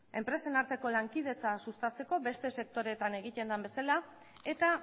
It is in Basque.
enpresen arteko lankidetza sustatzeko beste sektoreetan egiten den bezala eta